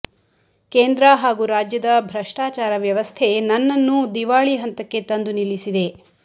ಕೇಂದ್ರ ಹಾಗೂ ರಾಜ್ಯದ ಭ್ರಷ್ಟಚಾರ ವ್ಯವಸ್ಥೆ ನನ್ನನ್ನೂ ದಿವಾಳಿ ಹಂತಕ್ಕೆ ತಂದು ನಿಲ್ಲಿಸಿದೆ